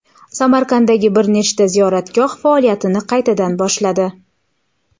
Samarqanddagi bir nechta ziyoratgoh faoliyatini qaytadan boshladi.